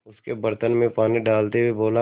उसके बर्तन में पानी डालते हुए बोला